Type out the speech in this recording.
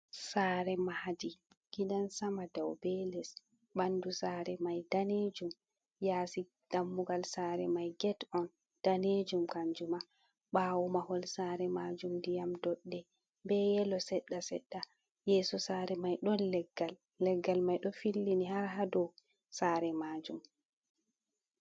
Sare mahɗi giɗansama ɗau be les. Banɗu sare mai ɗanejum. yasi ɗammugal sare mai get on ɗanejum kanjuma. Bawo mahol sare majum ɗiyam ɗoɗɗe be yelo seɗɗa seɗɗa. Yeso sare mai ɗon leggal. Leggal mai ɗo fillini har haɗow sare majum.